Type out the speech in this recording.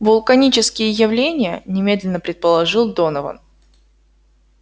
вулканические явления немедленно предположил донован